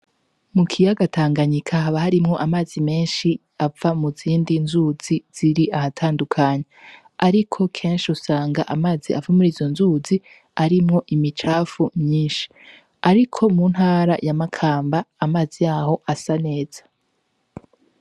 Mu kiyaga Tanganyika haba harimwo amazi menshi ava mu zindi nzuzi ziri ahatandukanye, ariko kenshi usanga amazi ava muri izo nzuzi arimwo imicafu myinshi, ariko mu ntara ya Makamba amazi yaho asa neza.